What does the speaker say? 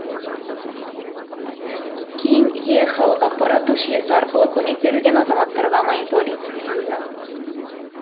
кейін е халық ақпараттық жүйесі арқылы көмек берілген азаматтарға мониторинг жасалды